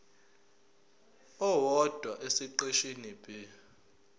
owodwa esiqeshini b